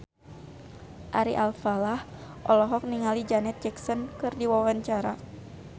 Ari Alfalah olohok ningali Janet Jackson keur diwawancara